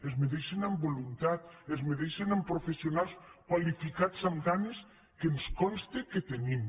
es mesuren amb voluntat es mesuren amb professionals qualificats amb ganes que ens consta que els tenim